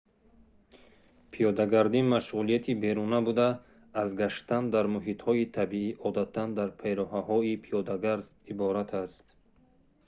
пиёдагардӣ машғулияти беруна буда аз гаштан дар муҳитҳои табиӣ одатан дар пайраҳаҳои пиёдагард иборат аст